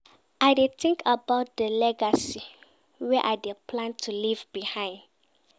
I dey tink about di legacy wey I dey plan to leave behind.